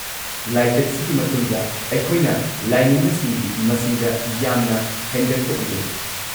ꯂꯥꯏꯆꯠꯁꯤꯒꯤ ꯃꯇꯨꯡꯗ, ꯑꯩꯈꯣꯏꯅ ꯂꯥꯏꯅꯤꯡꯕꯁꯤꯡꯒꯤ ꯃꯁꯤꯡꯗ ꯌꯥꯝꯅ ꯍꯦꯟꯒꯠꯄ ꯎꯖꯩ꯫